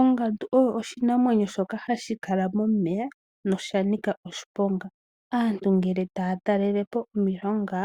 Ongandu oyo oshinamwenyo shoka hashi kala momeya no shanika oshiponga. Aantu ngele taya talelepo omilonga